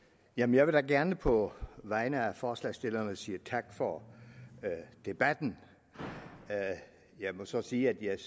jeg vil da gerne på vegne af forslagsstillerne sige tak for debatten jeg må så sige at jeg